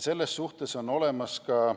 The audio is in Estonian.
Selle kohta on olemas ka ...